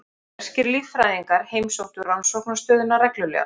Breskir líffræðingar heimsóttu rannsóknarstöðina reglulega.